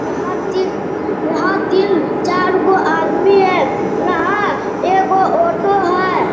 यहाँ ती यहाँ तीन चार गो आदमी है | यहाँ एगो ऑटो है।